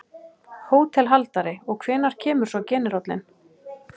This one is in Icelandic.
HÓTELHALDARI: Og hvenær kemur svo generállinn?